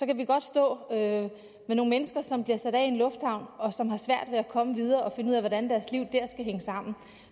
kan vi godt stå med nogle mennesker som bliver sat af i en lufthavn og som har svært ved at komme videre og finde ud af hvordan deres liv der skal hænge sammen